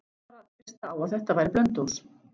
Hann varð bara að treysta á að þetta væri Blönduós.